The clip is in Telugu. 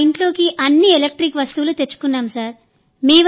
మా ఇంట్లోకి అన్ని ఎలక్ట్రిక్ వస్తువులు తెచ్చుకున్నాం సార్